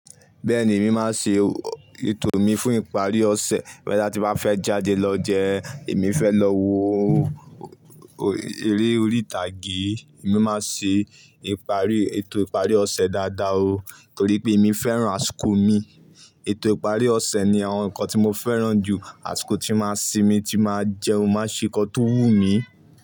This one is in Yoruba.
Bẹ́ẹ̀ni, èmi máa ṣe ètò mi fún ìparí ọ̀sẹ̀. Boya ti bá fẹ́ jáde lọ jẹ́, èmi fẹ́ lọ wo eré orí ìtàgé. Èmi máa ṣe ìparí, ètò ìparí ọ̀sẹ̀ dáadáa o. Nítorí pé èmi fẹ́ràn àsìkò mi. Ètò ìparí ọ̀sẹ̀ ni àwọn nǹkan tí mo fẹ́ràn jù. Àsìkò tí máa ń sinmi, tí máa ń jẹun, máa ṣe nǹkan tó wú mi.